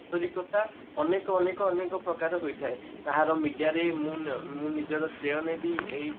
ଆନ୍ତରିକତା ଅନେକ ଅନେକ ଅନେକ ପ୍ରକାରର ହୋଇଥାଏ କାହାର media ରେ ମ ମୁଁ ମ ମୁଁ ନିଜର ଶ୍ରେୟ ନେବି ଏଇ